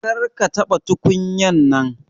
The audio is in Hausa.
Kar ka taba tukunyan nan.